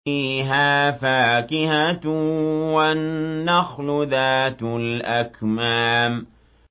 فِيهَا فَاكِهَةٌ وَالنَّخْلُ ذَاتُ الْأَكْمَامِ